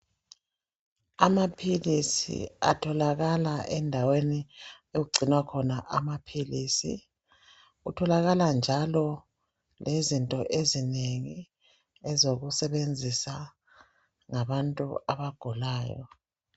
Amaphilisi athokalala endaweni okugcinwa khona amaphilisi kutholakala njalo izinto ezinengi ezokusebenzisa ngabantu abagulayo.